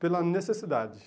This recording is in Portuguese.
Pela necessidade.